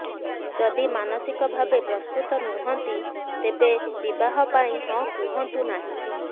ଯଦି ମାନସିକ ଭାବେ ପ୍ରସ୍ତୁତ ନୁହଁନ୍ତି ତେବେ ବିବାହ ପାଇଁ ହଁ କୁହନ୍ତୁ ନାହିଁ